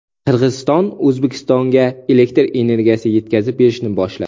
Qirg‘iziston O‘zbekistonga elektr energiyasi yetkazib berishni boshladi .